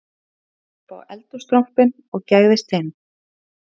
Fór hann þá upp á eldhússtrompinn og gægðist inn